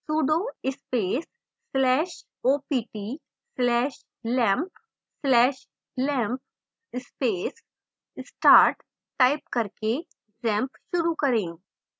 sudo space slash opt slash lampp slash lampp space start